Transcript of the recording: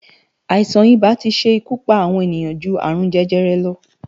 Aisán-ibá ti se ikú pá awòn éniyan jú árún-jèjèrè lò